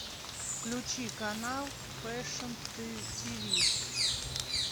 включи канал фэшн тв